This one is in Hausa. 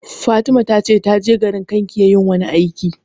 Fatima ta ce ta je garin Kankia yin wani aiki